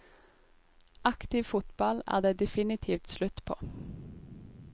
Aktiv fotball er det definitivt slutt på.